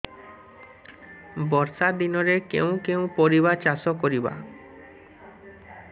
ବର୍ଷା ଦିନରେ କେଉଁ କେଉଁ ପରିବା ଚାଷ କରିବା